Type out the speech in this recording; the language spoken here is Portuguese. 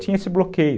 Tinha esse bloqueio.